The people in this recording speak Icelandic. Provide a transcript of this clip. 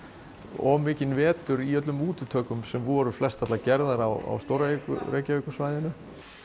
of mikinn vetur í öllum útitökum sem voru flestallar á stór Reykjavíkursvæðinu